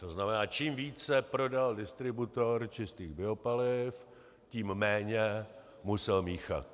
To znamená, čím více prodal distributor čistých biopaliv, tím méně musel míchat.